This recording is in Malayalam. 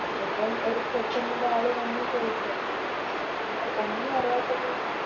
ഇപ്പോം ഒര് പെട്ടെന്നൊരാള് വന്ന് ചോയിക്കുവല്ലോ അപ്പോം നമ്മള് ഒന്നിനും അറിയാത്ത പോലെ